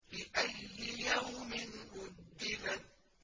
لِأَيِّ يَوْمٍ أُجِّلَتْ